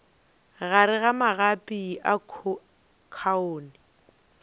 gare ga magapi a khoune